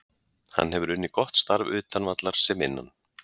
Hann hefur unnið gott starf utan vallar sem innan.